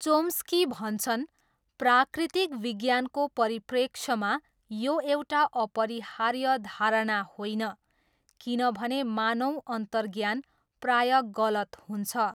Chomsky भन्छन् प्राकृतिक विज्ञानको परिप्रेक्ष्यमा यो एउटा अपरिहार्य धारणा होइन, किनभने मानव अन्तर्ज्ञान प्रायः गलत हुन्छ।